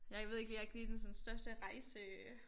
Jeg ved ikke lige jeg er ikke sådan den største rejse øh